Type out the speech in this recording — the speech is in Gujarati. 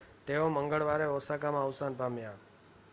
તેઓ મંગળવારે ઓસાકામાં અવસાન પામ્યા